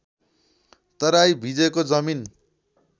तराई भिजेको जमिन